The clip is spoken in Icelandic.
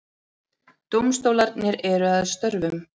Dómstólarnir eru að störfum